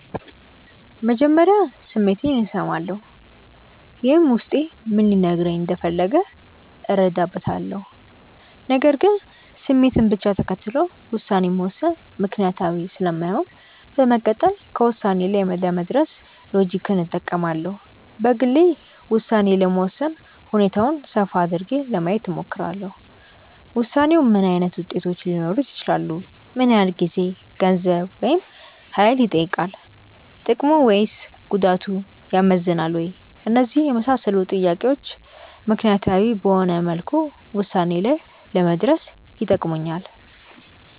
መጀመሪያ ስሜቴን እሰማለሁ። ይህም ውስጤ ምን ሊነግረኝ እንደፈለገ እረዳበታለሁ። ነገር ግን ስሜትን ብቻ ተከትሎ ውሳኔ መወሰን ምክንያታዊ ስለማይሆን በመቀጠል ከውሳኔ ላይ ለመድረስ ሎጂክን እጠቀማለሁ። በግሌ ውሳኔ ለመወሰን ሁኔታውን ሰፋ አድርጌ ለማየት እሞክራለሁ። ውሳኔው ምን ዓይነት ውጤቶች ሊኖሩት ይችላሉ? ምን ያህል ጊዜ፣ ገንዘብ፣ ወይም ሀይል ይጠይቃል። ጥቅሙ ወይስ ጉዳቱ ያመዝናል ወይ? እነዚህን የመሳሰሉ ጥያቄዎች ምክንያታዊ በሆነ መልኩ ውሳኔ ላይ ለመድረስ ይጠቅሙኛል።